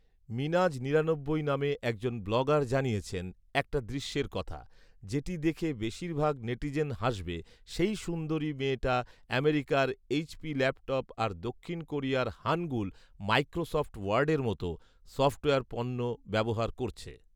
মিনাজ নিরানব্বই নামে একজন ব্লগার জানিয়েছেন একটা দৃশ্যের কথা, যেটি দেখে বেশীরভাগ নেটিজেন হাসবে, সেই সুন্দরী মেয়েটা আমেরিকার এইচপি ল্যাপটপ আর দক্ষিণ কোরিয়ার হানগুল ,মাইক্রোসফ্ট ওয়ার্ডের মত, সফটওয়ার পণ্য ব্যবহার করছে